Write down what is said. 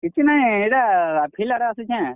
କିଛି ନାଇଁ ଇଟା field ଆଡ଼େ ଆସିଛେଁ।